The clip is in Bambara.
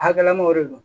Hakilinaw de don